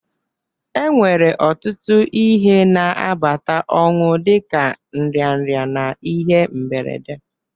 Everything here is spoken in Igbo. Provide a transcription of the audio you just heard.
E nwere ọtụtụ ihe na-abata ọnwụ dịka nrịanrịa na ihe mberede.